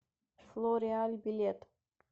флориаль билет